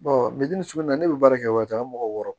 ne bɛ baara kɛ waati o ka mɔgɔ wɔɔrɔ